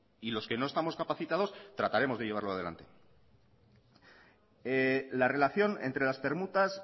y los que no estamos capacitados trataremos de llevarlo adelante la relación entre las permutas